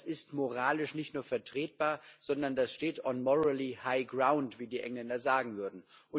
Das ist moralisch nicht nur vertretbar, sondern das steht on morally high ground wie die Engländer sagen würden.